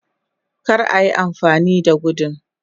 kar a Yi amfani da gudun